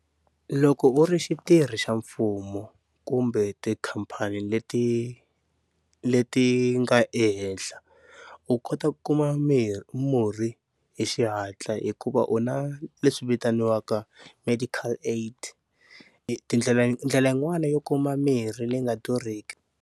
Loko u ri xitirhi xa mfumo kumbe tikhampani leti leti nga ehenhla u kota ku kuma mirhi murhi hi xihatla, hikuva u na leswi vitaniwaka medical aid tindlela ndlela yin'wani yo kuma mirhi leyi nga durhiki.